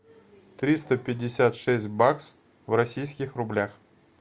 триста пятьдесят шесть бакс в российских рублях